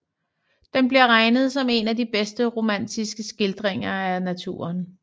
Den bliver regnet som en af de bedre romantiske skildringer af naturen